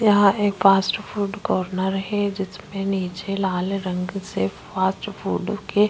यहाँ एक fast food corner है जिसमें नीचे लाल रंग से फास्ट फूड के--